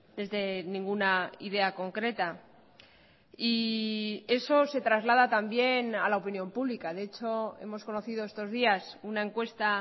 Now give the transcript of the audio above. desde ninguna idea concreta y eso se traslada también a la opinión pública de hecho hemos conocido estos días una encuesta